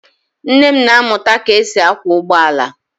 Nne m na-amụta ka e si akwọ ụgbọ ala.